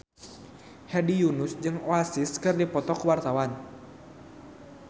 Hedi Yunus jeung Oasis keur dipoto ku wartawan